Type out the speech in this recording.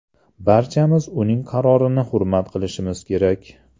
Barchamiz uning qarorini hurmat qilishimiz kerak.